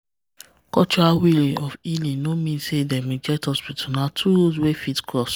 cultural way of healing no mean say dem reject hospital na two road wey fit cross.